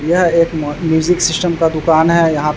यह एक मो म्यूजिक सिस्टम का दुकान है यहा --